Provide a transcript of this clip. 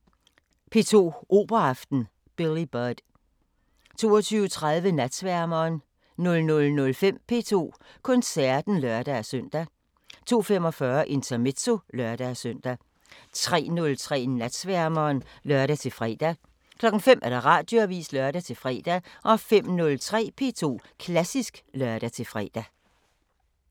19:20: P2 Operaaften: Billy Budd 22:30: Natsværmeren 00:05: P2 Koncerten (lør-søn) 02:45: Intermezzo (lør-søn) 03:03: Natsværmeren (lør-fre) 05:00: Radioavisen (lør-fre) 05:03: P2 Klassisk (lør-fre)